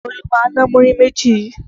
Ìgbà wo lo ma ná múrí méjì yìí?